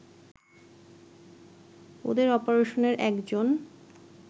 ওদের অপারেশনের একজন